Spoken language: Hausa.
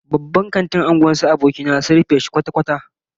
Babban kantin unguwar abokina sun rufe shi kwata-kwata